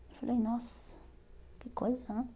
Eu falei, nossa, que coisa né.